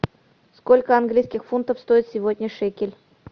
сколько английских фунтов стоит сегодня шекель